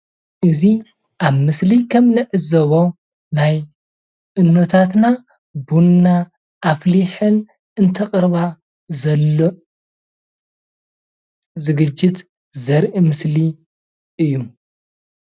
እዚ አብ ምስሊ ከም ንዕዘቦ ናይ እኖታትና ቡና አፈሊሐን እንተቅረባ ዘሎ ዝግጅት ዘርኢ ምስሊ እዩ፡፡